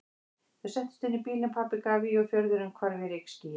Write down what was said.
Þau settust inn í bílinn, pabbi gaf í og fjörðurinn hvarf í rykskýi.